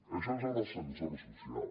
això és l’ascensor social